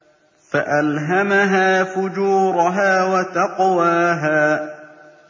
فَأَلْهَمَهَا فُجُورَهَا وَتَقْوَاهَا